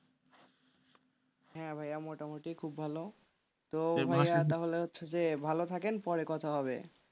হ্যাঁ ভাইয়া মোটামটি খুব ভালো তো হচ্ছে যে ভালো থাকেন পরে কথা হবে।